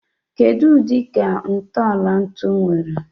Kedu udi ka ntọala ntu nwere?